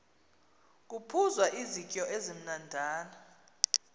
kuphuzwa izityo ezimnandana